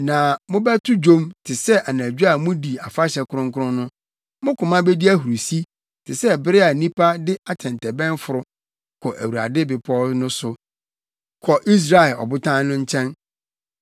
Na mobɛto dwom te sɛ anadwo a mudi afahyɛ kronkron no; mo koma bedi ahurusi te sɛ bere a nnipa de atɛntɛbɛn foro kɔ Awurade bepɔw no so, kɔ Israel Ɔbotan no nkyɛn.